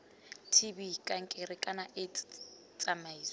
tb kankere kana aids tsamaiso